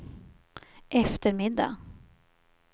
eftermiddag